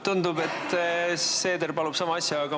Tundub, et Seeder tahab sama asja paluda.